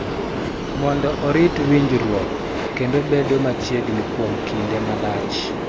Mondo orit winjruok kendo bedo machiegni kuom kinde malach.